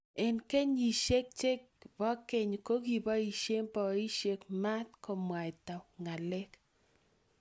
Eng kenyishe che bo keny ko kiboisie boisie maat komwaita ng'alek.